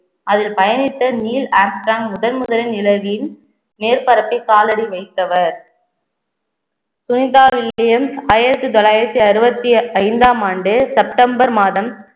அதில் பயணித்த Neil Armstrong முதன் முதலில் நிலவில் மேற்பரப்பை காலடி வைத்தவர் ஆயிரத்தி தொள்ளாயிரத்தி அறுபத்தி ஐந்தாம் ஆண்டு செப்டெம்பர் மாதம்